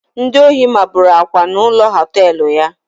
Ndi ohi mabụrụ Akwa na ụlọ họtelụ ya